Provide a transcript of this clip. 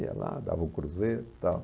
Ia lá, dava um cruzeiro e tal.